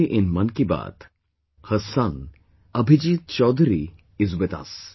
Today in 'Mann Ki Baat', her son Abhijit Chowdhary is with us